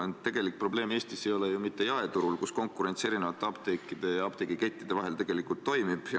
Ent tegelik probleem ei ole Eestis ju mitte jaeturul, kus konkurents apteekide ja apteegikettide vahel tegelikult toimib.